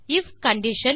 if condition